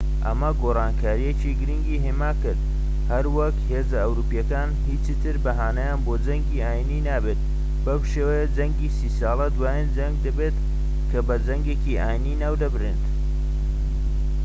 ئەمە گۆڕانکاریەکی گرنگی هێماکرد هەروەک هێزە ئەوروپیەکان هیچی تر بەهانەیان بۆ جەنگی ئاینیی نابێت بەم شێوەیە جەنگی سی ساڵە دوایین جەنگ دەبێت کە بە جەنگێکی ئاینیی ناو ببرێت